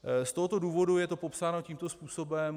Z tohoto důvodu je to popsáno tímto způsobem.